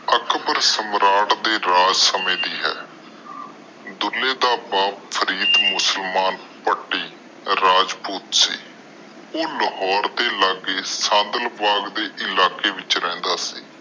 ਅਕਬਰ ਸਮਰਾਟ ਦੇ ਰਾਜ ਸਮੇ ਦੇ ਆ ਡੁਲ੍ਹੇ ਦਾ ਬੱਪ ਫ੍ਰੀਡ ਮੁਸਲਮਾਨ ਭਾਤਿ ਰਾਜਪੂਤ ਸੀ ਉਹ ਲਾਹੌਰ ਦੇ ਲਗੇ ਸਦਬਲ ਇਲਾਕੇ ਚ ਰਹਿੰਦਾ ਸੀ